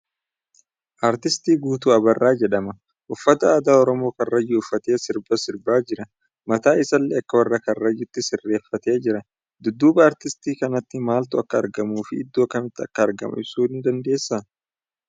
Artiist Guutuu Abarraa jedhama. Uffata aadaa Oromoo Karrayyuu uffatee sirba sirbaa jira. Mataa isaallee akka warra Karrayyyuutti sirreeffatee jira. Dudduuba artistii kanaatti maaltu akka argamuu fi iddoo akkamiitti akka argamu ibsuu dandeessaa?